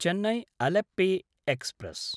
चेन्नै–अलेप्पे express